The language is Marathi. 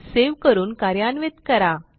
सेव्ह करून कार्यान्वित करा